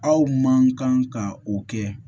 Aw man kan ka o kɛ